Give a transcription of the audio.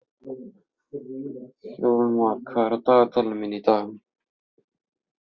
Þjóðmar, hvað er í dagatalinu mínu í dag?